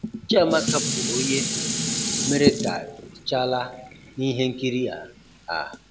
Chiamaka bụ onye um mere ka T'Challa n'ihe nkiri a. a.